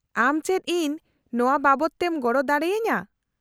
- ᱟᱢ ᱪᱮᱫ ᱤᱧ ᱱᱚᱶᱟ ᱵᱟᱵᱚᱫᱛᱮᱢ ᱜᱚᱲᱚ ᱫᱟᱲᱮᱭᱟᱹᱧᱟᱹ ?